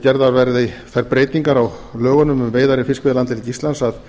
gerðar verði þær breytingar á lögunum um veiðar í fiskveiðilandhelgi íslands að